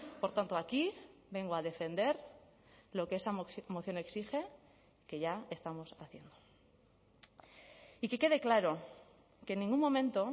por tanto aquí vengo a defender lo que esa moción exige que ya estamos haciendo y que quede claro que en ningún momento